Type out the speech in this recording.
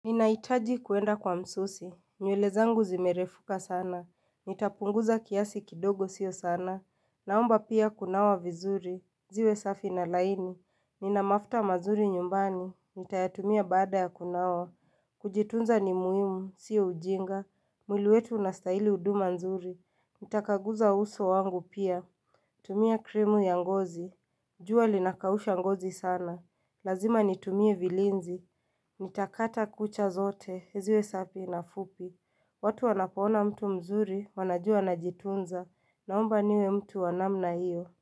Ninahitaji kuenda kwa msusi, nywele zangu zimerefuka sana, nitapunguza kiasi kidogo sio sana, naomba pia kunawa vizuri, ziwe safi na laini, nina mafuta mazuri nyumbani, nitayatumia baada ya kunawa, kujitunza ni muhimu, sio ujinga, mwili wetu unastahili huduma nzuri, nitakaguza uso wangu pia, tumia krimu ya ngozi, jua linakausha ngozi sana, lazima nitumie vilinzi, nitakata kucha zote. Isiwe safi na fupi, watu wanapoona mtu mzuri wanajua anajitunza, naomba niwe mtu wa namna hiyo.